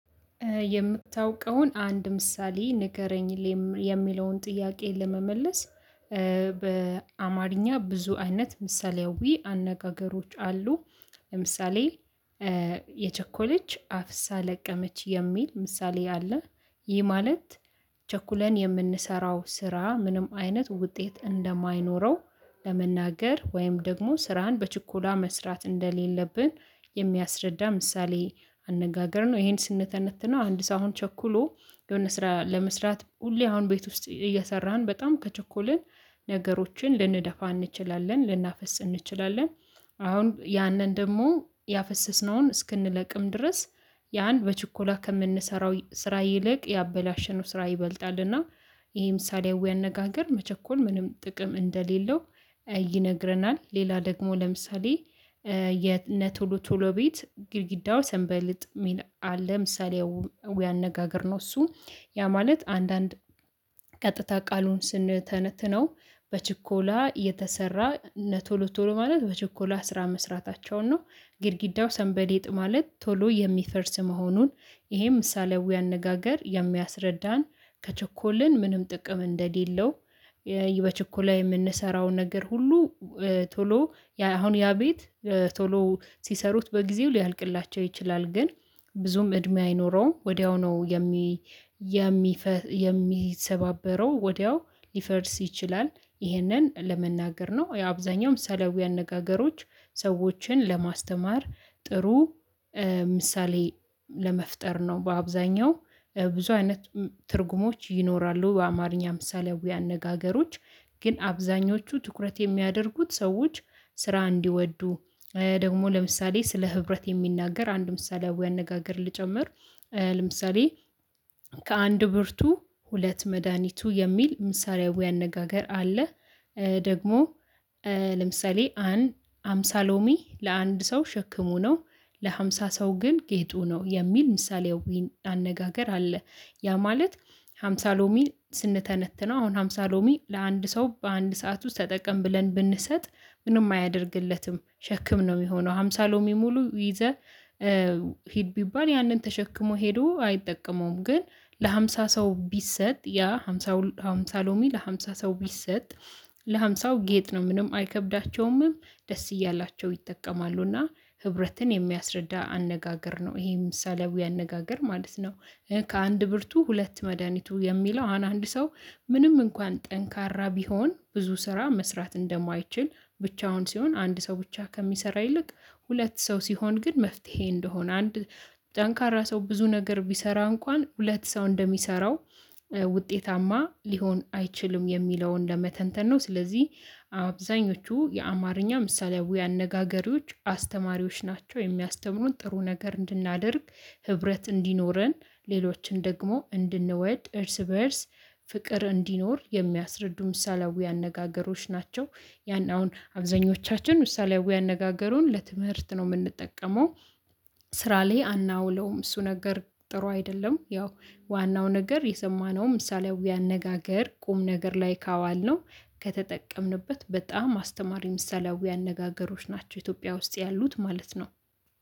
የምታውቀውን አንድ ምሳሌ ንገረልኝ የሚለውን ጥያቄ ለመመለስ በአማርኛ ብዙ አይነት ምሳሌያዊ አነጋገሮች አሉ ለምሳሌ የቸኮለች አፍሳ ለቀመች የሚል ምሳሌ አለ ይህ ማለት ቸኩለን የምንሰራው ስራ ምንም አይነት ውጤት እንደማይኖረው ለመናገር ወይም ደግሞ ስራን በችኮላ መስራት እንደሌለብን የሚያስረዳ ምሳሌ አነጋገር ነው ይሄን ስንተነትና አንድ ሳይሆን ቸኩሎ የሆነ ስራ ለመስራት ሁሌ አሁን ቤት ውስጥ እየሰራን በጣም ከቸኮለ ነገሮችን ልንደፋ እንችላለን ልናፈስ እንችላለን። አሁን ያንን ደግሞ ያፈሰስነውን እስክንለቅም ድረስ ያን በችኮላ ከምንሰራው ስራ ይልቅ ያበላሸነው ስራ ይበልጣልና ይሄ ምሳሌያዊ አነጋገር መቸኮል ምንም ጥቅም እንደሌለው ይነግረናል ሌላ ደግሞ ለምሳሌ የነቶሎ ቶሎ ቤት ግድግዳው ሰንበሊጥ ሚል አለ ምሳሌያዊ አነጋገር እሱ ያ ማለት አንዳንድ ቀጥታ ቃሉን ስንተነትነው በችኮላ የተሰራ እነ ቶሎ ቶሎ ማለት በችኮላ ስራ መስራታቸውን ነው ግድግዳው ሰንበሊጥ ማለት ቶሎ የሚፈርስ መሆኑን ይሄም ምሳሌያዊ አነጋገር የሚያስረዳን ከቸኮልን ምንም ጥቅም እንደሌለው በችኮላ የምንሰራውን ነገር ሁሉ ቶሎ አሁን ያ ቤት ቶሎ ሲሰሩት በጊዜው ሊያልቅላቸው ይችላል ግን ብዙም እድሜ አይኖረውም ወዲያው ነው የሚ የሚ የሚሰባበረው ወዲያው ሊፈርስ ይችላል። ይሄንን ለመናገር ነው የአብዛኛው ምሳሌያዊ አነጋገሮች ሰዎችን ለማስተማር ጥሩ ምሳሌ ለመፍጠር ነው በአብዛኛው ብዙ አይነት ትርጉሞች ይኖራሉ በአማርኛ ምሳሌያዊ አነጋገሮች ግን አብዛኞቹ ትኩረት የሚያደርጉት ሰዎች ስራ እንዲወዱ ደግሞ ለምሳሌ ስለ ህብረት የሚናገር አንድ ምሳሌያዊ አነጋገር ልጨምር ለምሳሌ ከአንድ ብርቱ ሁለት መድሃኒቱ የሚል ምሳሌያዊ አነጋገር አለ። ደግሞ ለምሳሌ አንድ ሃምሳ ሎሚ ለአንድ ሰው ሸክሙ ነው። ለሃምሳ ሰው ግን ጌጡ ነው የሚል ምሳሌያዊ አነጋገር አለ ያ ማለት ሃምሳ ሎሚ ስንተነትነው አሁን ሃምሳ ሎሚ ለአንድ ሰው በአንድ ሰዓት ውስጥ ተጠቅም ብለን ብንሰጥ ምንም አያደርግለትም ሸክም ነው የሚሆነው ሃምሳ ሎሚ ሙሉ ይዘህ ሂድ ቢባል ያንን ተሸክሞ ሄዶ አይጠቀመውም ግን ለሃምሳ ሰው ቢሰጥ ያ ሃምሳ ሃምሳ ሎሚ ለሃምሳ ሰው ቢሰጥ ለሃምሳው ጌጥ ነው ምንም አይከብዳቸውምም ደስ እያላቸው ይጠቀማሉ እና ህብረትን የሚያስረዳ አነጋገር ነው ይሄ ምሳሌው አነጋገር ማለት ነው። ከአንድ ብርቱ ሁለት መድሃኒቱ የሚለው አንድ ሰው ምንም እንኳን ጠንካራ ቢሆን ብዙ ስራ መስራት እንደማይችል ብቻውን ሲሆን አንድ ሰው ብቻ ከሚሰራ ይልቅ ሁለት ሰው ሲሆን ግን መፍትሄ እንደሆነ አንድ ጠንካራ ሰው ብዙ ነገር ቢሰራ እንኳን ሁለት ሰው እንደሚሰራው ውጤታማ ሊሆን አይችልም የሚለውን ለመተንተን ነው ስለዚህ አብዛኞቹ የአማርኛ ምሳሌያዊ አነጋገሮች አስተማሪዎች ናቸው። የሚያስተምሩን ጥሩ ነገር እንድናደርግ ህብረት እንዲኖረን ሌሎችን ደግሞ እንድንወድ እርስ በእርስ ፍቅር እንዲኖር የሚያስረዱ ምሳሌያዊ አነጋገሮች ናቸው። ያን አሁን አብዛኞቻችን ምሳሌያዊ አነጋገሩን ለትምህርት ነው የምንጠቀመው። ስራ ላይ አናውለውም እሱ ነገር ጥሩ አይደለም ያው ዋናው ነገር የሰማነው ምሳሌያዊ አነጋገር ቁም ነገር ላይ ካዋልነው ከተጠቀምንበት በጣም አስተማሪ ምሳሌያዊ አነጋገሮች ናቸው። ኢትዮጵያ ውስጥ ያሉት ማለት ነው።